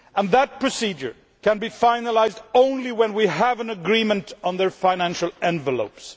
That procedure can be finalised only when we have an agreement on the financial envelopes.